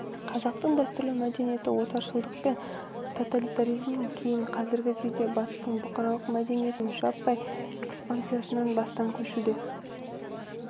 қазақтың дәстүрлі мәдениеті отаршылдық пен тоталитаризмнан кейін қазіргі кезде батыстың бұқаралық мәдениетінің жаппай экспансиясын бастан кешіруде